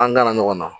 An gana ɲɔgɔn na